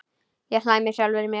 Ég hlæ með sjálfri mér.